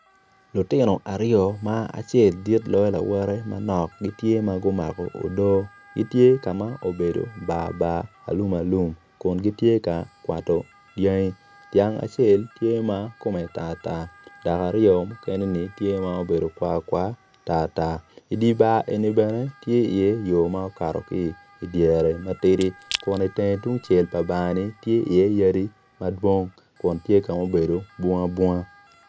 Lutino aryo ma acel dit loyo lawote gitye gumako odoo gitye ka ma obedo barbar gitye ka kwato dyangi dyanga acel tye ma kome obedo tartar dok aryo mukene ni tye ma obedo kwakwa tartar. I dye bar eni bene tye yo ma okato ki iye i dyere matidi kun i teng tung cel me bar ni tye iye yadi madwong kun tye ka ma obedo bungabunga.